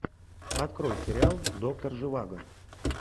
открой сериал доктор живаго